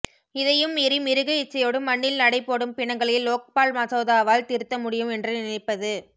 இதையும் மீறி மிருக இச்சயோடு மண்ணில் நடை போடும் பிணங்களை லோக்பால் மசோதாவால் திருத்த முடியும் என்று நினைப்பது